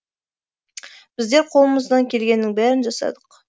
біздер қолымыздан келгеннің бәрін жасадық